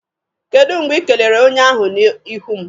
Kedụ mgbe Ị kelere onye ahụ n'ihu m?